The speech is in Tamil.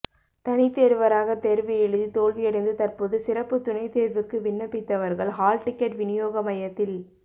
தனித்தேர்வராக தேர்வு எழுதி தோல்வியடைந்து தற்போது சிறப்பு துணைதேர்வுக்கு விண்ணப்பித்தவர்கள் ஹால் டிக்கெட் வினியோக மையத்தில்